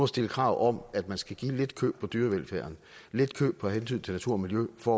stille krav om at man skal give lidt køb på dyrevelfærden lidt køb på hensyn til natur og miljø for